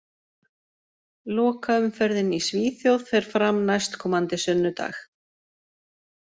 Lokaumferðin í Svíþjóð fer fram næstkomandi sunnudag.